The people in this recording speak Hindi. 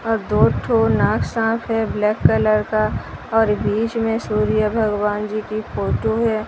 और दो टू नाग साप है ब्लैक कलर का और बीच में सूर्य भगवान जी की फोटो है।